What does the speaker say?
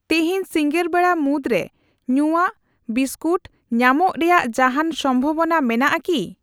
ᱛᱤᱦᱤᱧ ᱥᱤᱸᱜᱟᱹᱲ ᱵᱮᱲᱟ ᱢᱩᱫᱽᱨᱮ ᱧᱩᱭᱟᱜ, ᱵᱤᱥᱠᱩᱴ ᱧᱟᱢᱚᱜ ᱨᱮᱭᱟᱜ ᱡᱟᱦᱟᱱ ᱥᱚᱢᱵᱷᱟᱵᱚᱱᱟ ᱢᱮᱱᱟᱜᱼᱟ ᱠᱤ ?